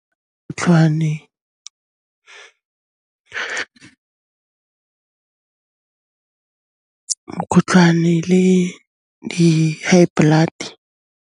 Mokgotlhwane le di high blood-e.